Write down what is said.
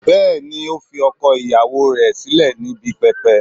Bẹẹni, o fi ọkọ iyawo rẹ silẹ ni ibi pẹpẹ